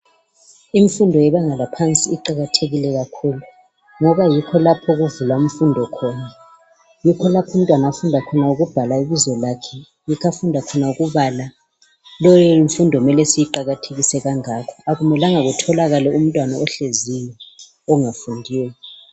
Imfundo yebanga laphansi iqakathekile kakhulu ngoba yikho lapha okuvula mfundo khona. Yikho lapho umntwana afunda khona ukubhala ibizo lakhe yikho afunda khona ukubala. Leyi mfundo kumele siyiqakathekise kangako akumelanga kutholakale umntwana ohleziyo ongafundiyo.